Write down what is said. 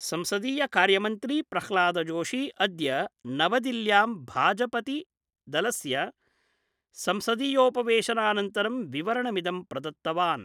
संसदीय कार्यमन्त्री प्रह्लादजोशी अद्य नवदिल्ल्यां भाजपतिदलस्य संसदीयोपवेशनानन्तरं विवरणमिदं प्रदत्तवान्।